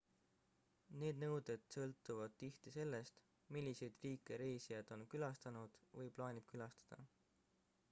need nõuded sõltuvad tihti sellest milliseid riike reisija on külastanud või plaanib külastada